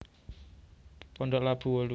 Pondok Labu wolu